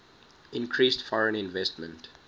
increased foreign investment